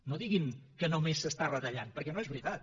no diguin que només s’està retallant perquè no és veritat